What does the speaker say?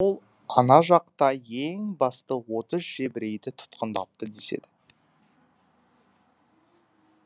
ол ана жақта ең басты отыз жебірейді тұтқындапты деседі